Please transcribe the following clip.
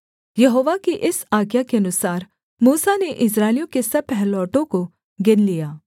यहोवा की इस आज्ञा के अनुसार मूसा ने इस्राएलियों के सब पहिलौठों को गिन लिया